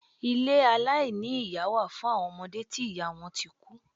Ilé aláìní iyá wà fún awọn ọmọde tí ìyá wọn tí kú.